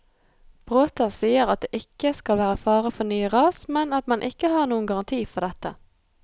Bråta sier at det ikke skal være fare for nye ras, men at man ikke har noen garanti for dette.